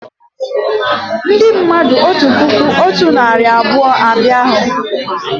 Ndị mmadụ otu puku otu narị abụọ abịa hú